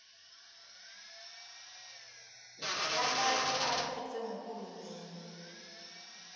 lamanye aphetfwe nguhulumende